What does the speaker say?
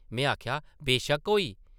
में आखेआ, ‘‘बेशक्क होई ।’’